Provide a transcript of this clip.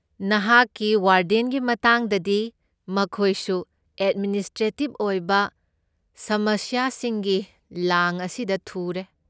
ꯅꯍꯥꯛꯀꯤ ꯋꯥꯔꯗꯦꯟꯒꯤ ꯃꯇꯥꯡꯗꯗꯤ, ꯃꯈꯣꯏꯁꯨ ꯑꯦꯗꯃꯤꯅꯤꯁꯇ꯭ꯔꯦꯇꯤꯕ ꯑꯣꯏꯕ ꯁꯃꯁ꯭ꯌꯥꯁꯤꯡꯒꯤ ꯂꯥꯡ ꯑꯁꯤꯗ ꯊꯨꯔꯦ꯫